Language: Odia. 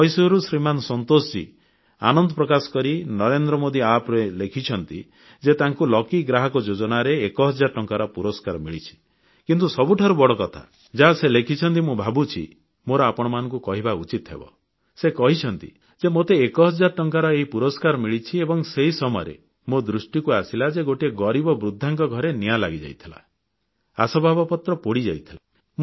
ମହୀଶୂରରୁ ଶ୍ରୀମାନ ସନ୍ତୋଷଜୀ ଆନନ୍ଦ ପ୍ରକାଶ କରି ନରେନ୍ଦ୍ର ମୋଦି App ରେ ଲେଖିଛନ୍ତି ଯେ ତାଙ୍କୁ ଲକି ଗ୍ରାହକ ଯୋଜନାରେ ଏକ ହଜାର ଟଙ୍କାର ପୁରସ୍କାର ମିଳିଛି କିନ୍ତୁ ସବୁଠାରୁ ବଡ଼କଥା ଯାହା ସେ ଲେଖିଛନ୍ତି ମୁଁ ଭାବୁଛି ମୋର ଆପଣଙ୍କୁ କହିବା ଉଚିତ ହେବ ସେ କହିଛନ୍ତି ଯେ ମୋତେ ଏକ ହଜାର ଟଙ୍କାର ଏହି ପୁରସ୍କାର ମିଳିଛି ଏବଂ ସେହି ସମୟରେ ମୋ ଦୃଷ୍ଟିକୁ ଆସିଲା ଯେ ଗୋଟିଏ ଗରିବ ବୃଦ୍ଧାଙ୍କ ଘରେ ନିଆଁ ଲାଗିଯାଇଥିଲା ଆସବାବପତ୍ର ପୋଡ଼ିଯାଇଥିଲା